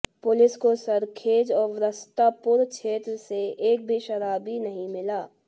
police को सरखेज और वस्त्रापुर क्षेत्र से एक भी शराबी नहीं मिला